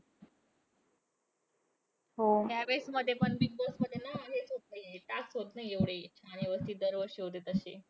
हो. ह्यावेळेसमध्ये पण बिगबॉसमध्ये ना हेच होतं नाहीये. task होतं नाहीये एवढे व्यवस्थित दरवर्षी होतात तशे.